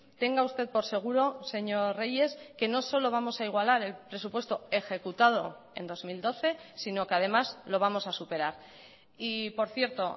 tenga usted por seguro señor reyes que no solo vamos a igualar el presupuesto ejecutado en dos mil doce sino que además lo vamos a superar y por cierto